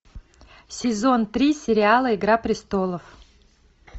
сезон три сериала игра престолов